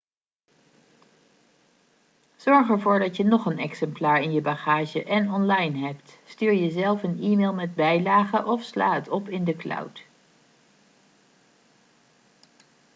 zorg ervoor dat je nog een exemplaar in je bagage en online hebt stuur jezelf een e-mail met bijlage of sla het op in de cloud